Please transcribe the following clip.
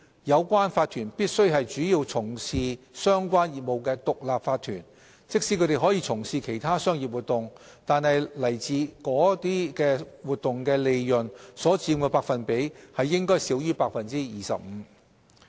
有關法團必須是主要從事相關業務的獨立法團，即使它們可從事其他商業活動，但來自該等活動的利潤所佔的百分比應少於 25%。